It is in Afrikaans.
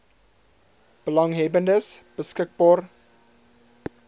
belanghebbendes beskik baar